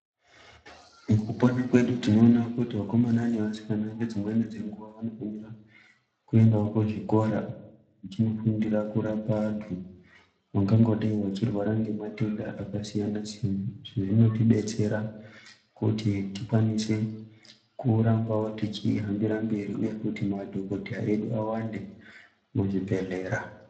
Mukupona kwedu tinoona kuti vakomana nevasikana ngedzimweni dzenguwa vanofanira kuendawo kuzvikora vachinofundira kurapa vantu vangangodai vachirwara ngematenda akasiyana siyana izvi zvinodetsera kuti tikwanise kurambawo tichihambira mberi nekuti madhokodheya edu awande muzvibhedhlera.